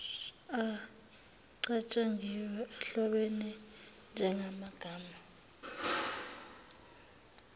acatshangiwe ahlobene njengamagama